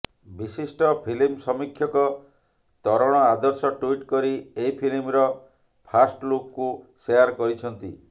ବିଶିଷ୍ଟ ଫିଲ୍ମ ସମୀକ୍ଷକ ତରଣ ଆଦର୍ଶ ଟ୍ୱିଟ କରି ଏହି ଫିଲ୍ମର ଫାଷ୍ଟ ଲୁକକୁ ଶେଆର କରିଛନ୍ତି